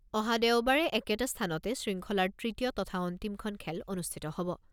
অহা দেওবাৰে একেটা স্থানতে শৃংখলাৰ তৃতীয় তথা অন্তিমখন খেল অনুষ্ঠিত হ'ব।